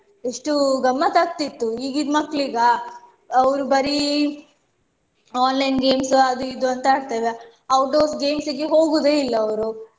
ಎಷ್ಟು ಗಮ್ಮತ್ತಾಕ್ತಿತ್ತು ಈಗಿದ್ ಮಕ್ಕಳಿಗಾ ಅವ್ರು ಬರೀ online games ಅದು ಇದು ಅಂತ ಆಡ್ತೇವ outdoor games ಗೆ ಹೋಗುದೇ ಇಲ್ಲ ಅವ್ರು.